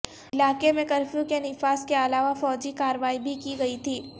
علاقے میں کرفیو کے نفاذ کے علاوہ فوجی کارروائی بھی کی گئی تھی